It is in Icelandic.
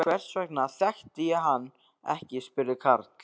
Hvers vegna þekkti ég hann ekki? spurði Karl.